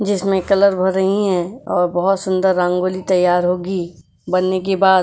जिसमें कलर भर रही हैं और बहुत सुंदर रंगोली तैयार होगी बनने के बाद --